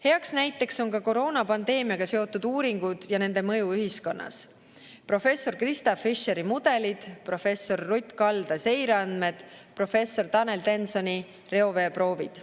Heaks näiteks on ka koroonapandeemiaga seotud uuringud ja nende mõju ühiskonnas: professor Krista Fischeri mudelid, professor Ruth Kalda seireandmed, professor Tanel Tensoni reoveeproovid.